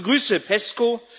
Ich begrüße PESCO.